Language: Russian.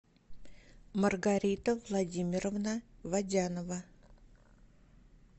маргарита владимировна водянова